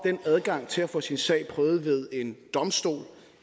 adgangen til at få sin sag prøvet ved en domstol